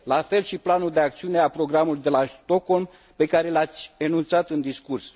La fel și planul de acțiune al Programului de la Stockholm pe care l ați enunțat în discurs.